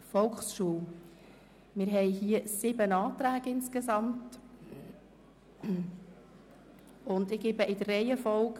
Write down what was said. Im Voranschlag 2018 ist der Saldo der Produktgruppe 9.7.2 «Volksschule und schulergänzende Angebote» um CHF 0,3 Millionen zu erhöhen.